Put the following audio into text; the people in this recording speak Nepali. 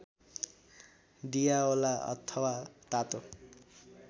डियावोला अथवा तातो